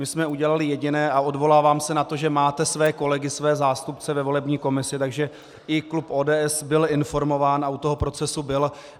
My jsme udělali jediné, a odvolávám se na to, že máte své kolegy, své zástupce ve volební komisi, takže i klub ODS byl informován a u toho procesu byl.